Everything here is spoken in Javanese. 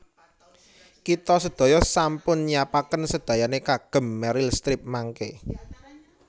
Kita sedaya sampun nyiapaken sedayane kagem Meryl Streep mangke